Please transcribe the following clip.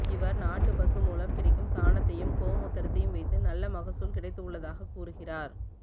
இவர் நாட்டு பசு மூலம் கிடைக்கும் சாணத்தையும் கோ மூத்திரத்தையும் வைத்து நல்ல மகசூல் கிடைத்து உள்ளதாக கூறுகிறார்